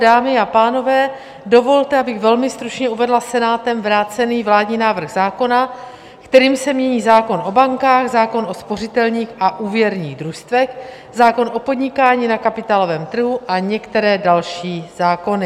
Dámy a pánové, dovolte, abych velmi stručně uvedla Senátem vrácený vládní návrh zákona, kterým se mění zákon o bankách, zákon o spořitelních a úvěrních družstvech, zákon o podnikání na kapitálovém trhu a některé další zákony.